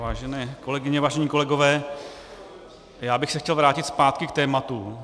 Vážené kolegyně, vážení kolegové, já bych se chtěl vrátit zpátky k tématu.